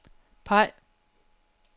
peg